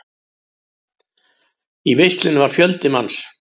Í veislunni var fjöldi manns.